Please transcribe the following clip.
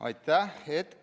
Aitäh!